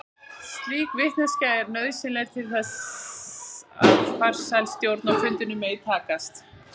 Slík vitneskja er nauðsynleg til þess að farsæl stjórn á fundinum megi takast.